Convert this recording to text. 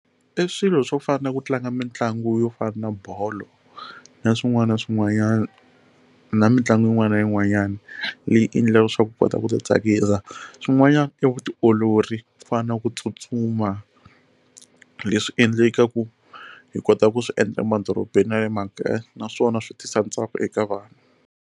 I swilo swo fana ku tlanga mitlangu yo fana na bolo na swin'wana na swin'wanyana na mitlangu yin'wana na yin'wanyana leyi endla leswaku u kota ku ti tsakisa swin'wanyana i vutiolori ku fana na ku tsutsuma leswi endlekaku hi kota ku swi endla emadorobeni na le makaya naswona swi tisa ntsako eka vanhu.